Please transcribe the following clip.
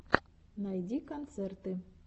найди концерты